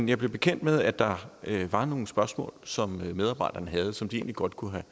jeg blev bekendt med at der var nogle spørgsmål som medarbejderne havde og som de egentlig godt kunne